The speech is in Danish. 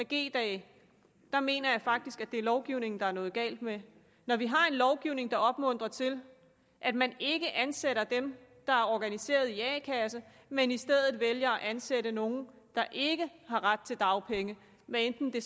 g dage mener jeg faktisk det er lovgivningen der er noget galt med når vi har en lovgivning der opmuntrer til at man ikke ansætter dem der er organiseret i a kasse men i stedet vælger at ansætte nogle der ikke har ret til dagpenge hvad enten det